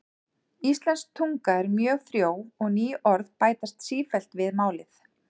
Íslensk tunga er mjög frjó og ný orð bætast sífellt við málið.